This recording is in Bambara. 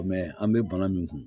an bɛ bana min kun